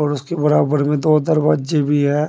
और उसके बराबर में दो दरवाजे भी है।